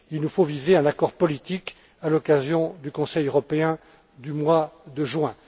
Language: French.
Il nous faut viser un accord politique à l'occasion du Conseil européen du mois de juin.